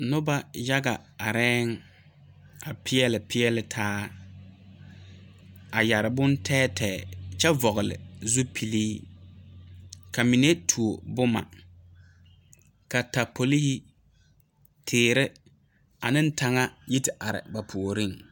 Noba yaga areŋ a pɛɛle pɛɛle taa, a yɛre bon tɛɛtɛɛ kyɛ vɔgeli zupile ka mine tuo boma katapole, tiire ane taŋa yi te are ba puori.